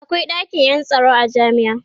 akwai ɗakin Yan tsaro a jami'a